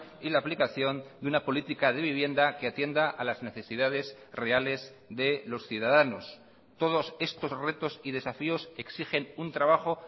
y la aplicación de una política de vivienda que atienda a las necesidades reales de los ciudadanos todos estos retos y desafíos exigen un trabajo